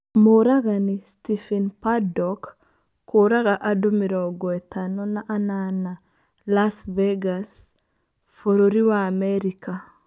Mũragani, Stephen Paddock, kũraga andũ mĩrongo ĩtano na anana Las Vegas, Bũrũri wa Amerika